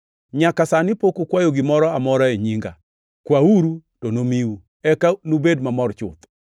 Nyaka sani pok ukwayo gimoro amora e nyinga. Kwauru to nomiu, eka nubed mamor chuth.